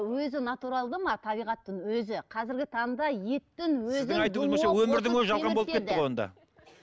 өзі натуралды ма табиғаттың өзі қазіргі таңда еттің өзін